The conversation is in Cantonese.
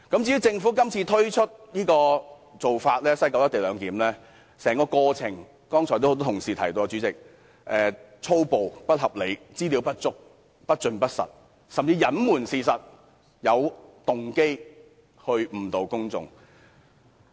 至於政府今次提出在西九龍站實施"一地兩檢"的做法，代理主席，剛才多位同事已提過，政府手法粗暴、不合理、資料不足、不盡不實，甚至隱瞞事實，有動機地誤導公眾。